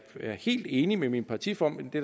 jeg er helt enig med min partiformand det